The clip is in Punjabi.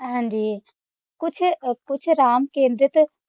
ਹਾਂਜੀ ਕੁਝ ਅਹ ਕੁਝ ਰਾਮ ਕੇਂਦ੍ਰਿਤ